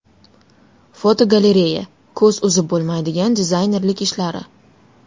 Fotogalereya: Ko‘z uzib bo‘lmaydigan dizaynerlik ishlari.